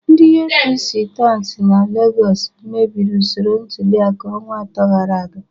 Ndị APC tout na Legọs mebiri usoro ntuliaka ọnwa atọ gara aga